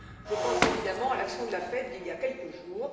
Je pense évidemment à l'action de la FED d'il y a quelques jours.